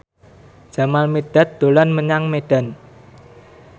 Jamal Mirdad dolan menyang Medan